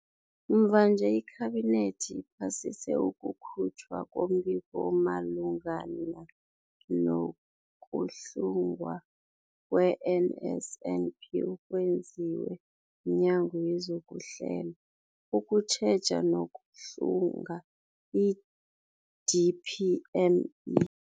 Mvanje, iKhabinethi iphasise ukukhutjhwa kombiko omalungana nokuhlungwa kwe-NSNP okwenziwe mNyango wezokuHlela, ukuTjheja nokuHlunga, i-DPME.